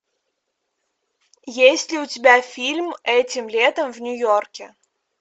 есть ли у тебя фильм этим летом в нью йорке